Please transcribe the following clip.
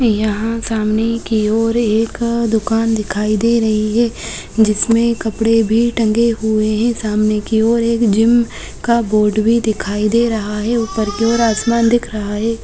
यहाँ सामने की ओर एक दुकान दिखाई दे रही है जिसमे कपड़े भी टंगे हुए हैं। सामने की ओर एक जिम का बोर्ड भी दिखाई दे रहा हैं। ऊपर कि ओर आसमान दिख रहा है।